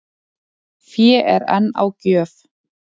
Fé er enn á gjöf